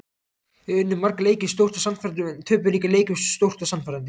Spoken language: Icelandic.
Við unnum marga leiki stórt og sannfærandi en töpuðum líka leikjum stórt og sannfærandi.